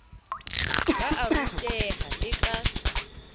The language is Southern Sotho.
ba a ruteha le ka